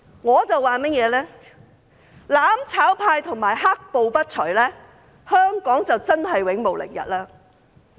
我說，"攬炒派"和"黑暴"不除，香港便真是永無寧日。